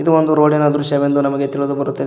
ಒಂದು ರೋಡಿನ ದೃಶ್ಯವೆಂದು ನಮಗೆ ತಿಳಿದುಬರುತ್ತದೆ.